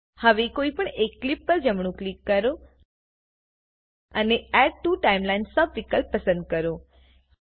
હવે કોઈપણ એક ક્લીપ પર જમણું ક્લિક કરો અને એડ ટીઓ ટાઇમલાઇનના સબ વિકલ્પ પસંદ કરો